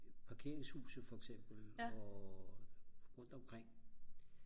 parkeringshuset for eksempel og rundt omkring